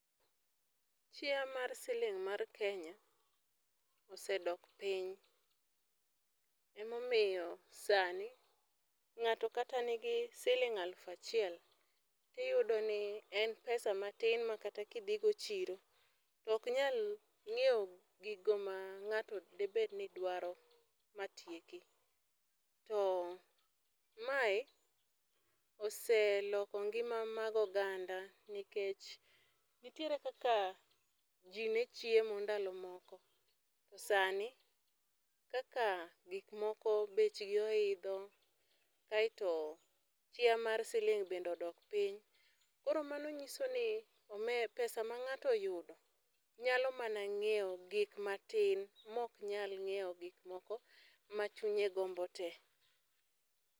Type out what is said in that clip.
Chia mar siling mar Kenya osedok piny. Ema omiyo sani, ngáto kata nigi siling aluf achiel, to iyudo ni en pesa matin makata kidhi go chiro oknyal nyiewo gigo ma ngáto de bed ni dwaro ma tieki. To mae oseloko ngima mag oganda, nikech nitiere kaka ji ne chiemo ndalo moko, to sani kaka gik moko bech gi oidho, kaeto chia mar siling bende odok piny. Koro mano nyiso ni pesa ma ngáto oyudo, nyalo mana nyiewo gik matin ma ok nyalo nyiewo gik moko ma chunye gombo te.